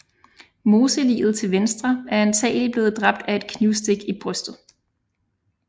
Moseliget til venstre er antagelig blevet dræbt af et knivstik i brystet